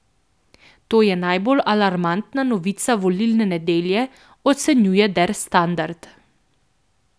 To je najbolj alarmantna novica volilne nedelje, ocenjuje Der Standard.